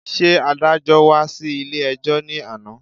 Ṣé adájọ́́ wá sí ilé-ẹjọ́ ní àná